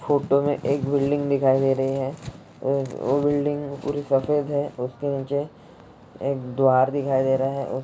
photo मे एक building दिखाई दे रही है अ वो बिल्डिंग पूरी सफेद है उसके नीचे एक द्वार दिखाई दे रही है उ--